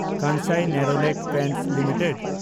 Kansai Nerolac paints limited